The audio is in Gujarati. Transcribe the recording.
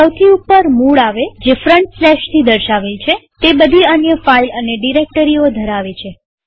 સૌથી ઉપર મૂળરૂટ આવે જે ફ્રન્ટસ્લેશ થી દર્શાવેલ છેતે બધી અન્ય ફાઈલ અને ડિરેક્ટરીઓ ધરાવે છે